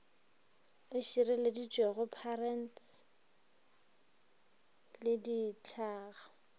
e šireleditšwego patents le ditlhangwa